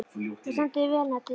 Þú stendur þig vel, Nadia!